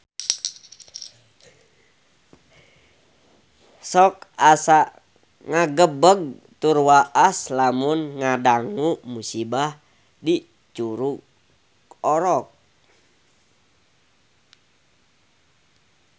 Sok asa ngagebeg tur waas lamun ngadangu musibah di Curug Orok